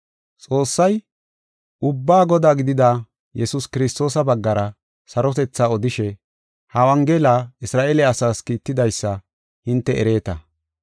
Xoossay, ubbaa Godaa gidida Yesuus Kiristoosa baggara sarotethaa odishe ha Wongela Isra7eele asaas kiittidaysa hinte ereeta.